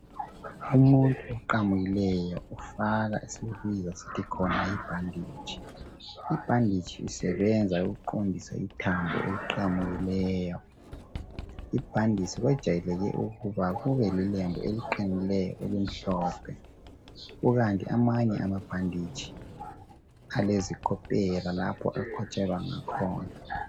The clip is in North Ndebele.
Umuntu oqamukileyo ufaka esikubiza sithi khona yibhanditshi, ibhanditshi isebenza ukuqonsisa ithambo eliqamukileyo ibhanditshi kwejayeleke ukuba lilelembu eliqinileyo elimhlophe kukanti amanye amabhanditshi alezikopela lapho akotshelwa ngakhona.